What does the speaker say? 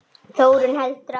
Þórunn heldur áfram